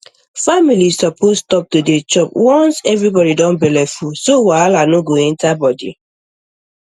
families suppose stop to dey chop once everybody don belleful so wahala no go enter body